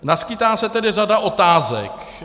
Naskýtá se tedy řada otázek.